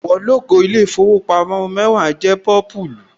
Àwọ̀ lógò ilé ìfowópamọ́ Wema jẹ́ pọ́púlù